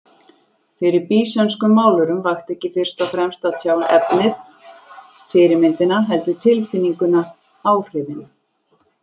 Fyrir býsönskum málurum vakti ekki fyrst og fremst að tjá efnið, fyrirmyndina, heldur tilfinninguna, áhrifin.